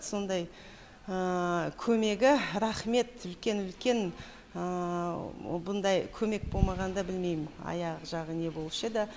сондай көмегі рахмет үлкен үлкен бұндай көмек болмағанда білмейм аяқ жағы не болушы еді